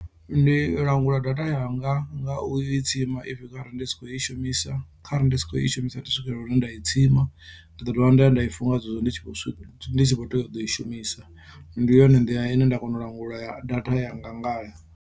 Ndi langula data yanga nga u i tsima if kharali ndi si khou i shumisa kharali ndi si khou i shumisa ndi swikelela hune nda i tsima ndi ḓo dovha nda ya nda i funa nga zwezwo ndi tshi vho swika ndi tshi kho tea u ḓo i shumisa ndi yone nḓila ine nda kona u langula ya data yanga ngayo.